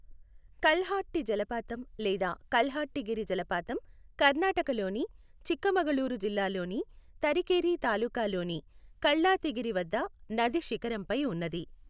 కల్హట్టి జలపాతం లేదా కల్హట్టిగిరి జలపాతం కర్ణాటకలోని చిక్కమగళూరు జిల్లాలోని తరికేరీ తాలూకాలోని కల్లాతిగిరి వద్ద నది శిఖరంపై ఉన్నది.